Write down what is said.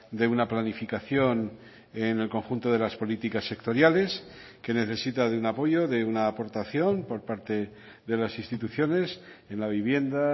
de una planificación en el conjunto de las políticas sectoriales que necesita de un apoyo de una aportación por parte de las instituciones en la vivienda